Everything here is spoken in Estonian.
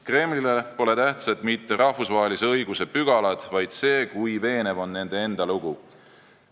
Kremlile pole tähtsad mitte rahvusvahelise õiguse pügalad, vaid see, kui veenev on nende enda lugu.